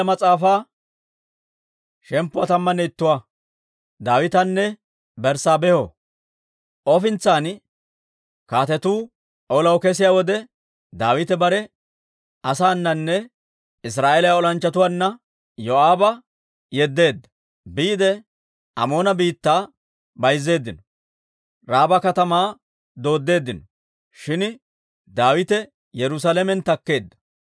Ofintsan, kaatetuu olaw kesiyaa wode, Daawite bare asaananne Israa'eeliyaa olanchchatuwaanna Yoo'aaba yeddeedda. Biide Amoona biittaa bayzzeeddino; Raaba katamaa dooddeeddino; shin Daawite Yerusaalamen takkeedda.